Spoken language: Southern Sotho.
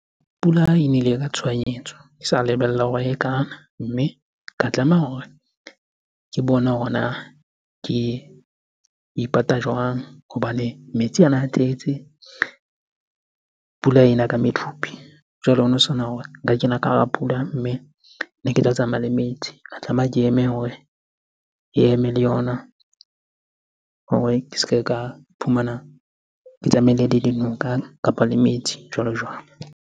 Pula e nele ka tshohanyetso, ke sa lebella hore e kana. Mme ka tlameha hore ke bone hore na ke ipata jwang? Hobane metsi ana a tletsen pula ena ka medupi. Jwale hono sena hore nka kena ka hara pula, mme ne ke tla tsamaya le metsi. Ka tlameha ke eme hore e eme le yona hore ke se ke ka iphumana ke tsamaile le dinoka kapa le metsi jwalo-jwalo.